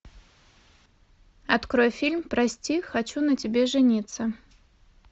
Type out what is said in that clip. открой фильм прости хочу на тебе жениться